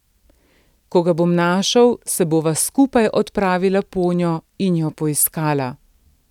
Ko ga bom našel, se bova skupaj odpravila ponjo in jo poiskala.